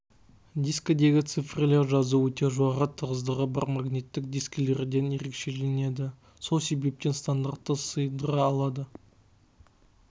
дискідегі цифрлік жазу өте жоғарғы тығыздығы бар магниттік дискілерден ерекшелінеді сол себептен стандартты сыйдыра алады